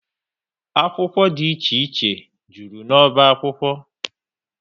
Akwụkwọ dị iche iche jụrụ n'ọba akwụkwọ